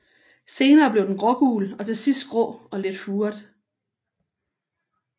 Senere bliver den grågul og til sidst grå og lidt furet